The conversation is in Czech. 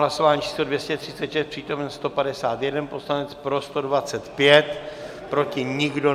Hlasování číslo 236, přítomen 151 poslanec, pro 125, proti nikdo.